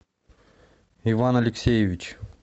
иван алексеевич